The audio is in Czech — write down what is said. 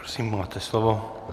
Prosím, máte slovo.